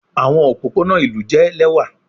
Awọn opopona ilu jẹ lẹwa